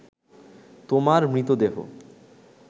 তোমার মৃতদেহ